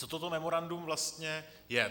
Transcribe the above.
Co toto memorandum vlastně je?